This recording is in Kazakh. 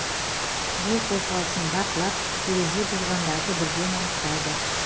жол қозғалысын бақылап ереже бұзғандарды бірден анықтайды